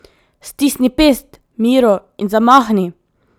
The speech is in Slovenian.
Stisni pest, Miro, in zamahni!